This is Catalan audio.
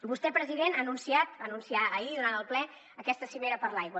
vostè president ha anunciat va anunciar ahir durant el ple aquesta cimera per l’aigua